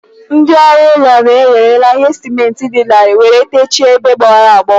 Ndị ọrụ ụlọ na e were ihe sịmentị dị larịị were techie ebe gbawara agbawa.